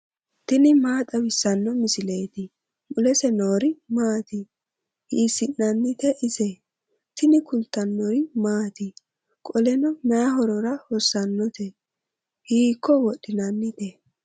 tini maa xawissanno misileeti ? mulese noori maati ? hiissinannite ise ? tini kultannori maati? qolteno may horora hossannote? hiikko wodhinannite?